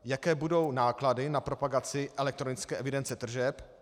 Jaké budou náklady na propagaci elektronické evidence tržeb?